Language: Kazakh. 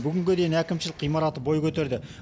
бүгінге дейін әкімшілік ғимараты бой көтерді